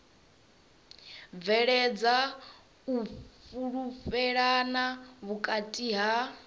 bveledza u fhulufhelana vhukati ha